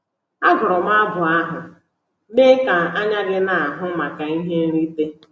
Agụrụ m abụ ahụ “ Mee Ka Anya Gị Na-ahụ Maka Ihe Nrite !”